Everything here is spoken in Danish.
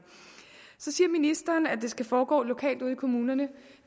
så siger ministeren at det skal foregå lokalt ude i kommunerne